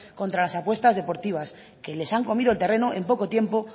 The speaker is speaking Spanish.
contra las apuestas deportivas que les han comido el terreno en poco tiempo